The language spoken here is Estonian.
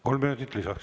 Kolm minutit lisaks.